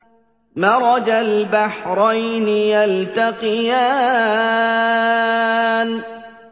مَرَجَ الْبَحْرَيْنِ يَلْتَقِيَانِ